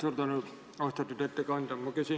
Suur tänu, austatud ettekandja!